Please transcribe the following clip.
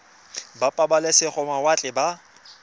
ba pabalesego ya mawatle ba